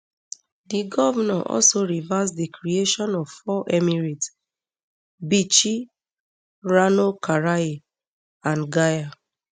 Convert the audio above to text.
di govnor also reverse di creation of four emirates bichi rano karaye and gaya